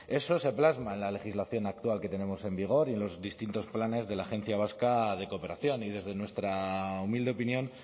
eso se plasma en la legislación actual que tenemos en vigor y en los distintos planes de la agencia vasca de cooperación y desde nuestra humilde opinión